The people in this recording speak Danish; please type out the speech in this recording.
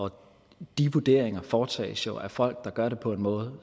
og de vurderinger foretages jo af folk der gør det på en måde